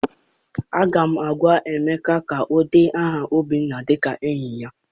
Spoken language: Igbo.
Aga m agwa Emeka ka ọ dee aha Obinna dịka enyi ya!